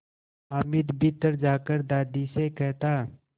हामिद भीतर जाकर दादी से कहता